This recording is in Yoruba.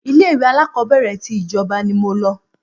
ilé ìwé alákọ́bẹ̀rẹ̀ ti ìjọba ni mo lọ